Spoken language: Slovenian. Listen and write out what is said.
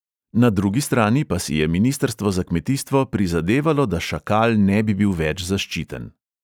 Na drugi strani pa si je ministrstvo za kmetijstvo prizadevalo, da šakal ne bi bil več zaščiten.